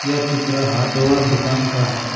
यह चित्र हार्डवेयर दुकान का है।